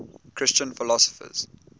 christian philosophers